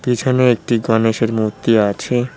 পিছনে একটি গণেশের মূর্তি আছে।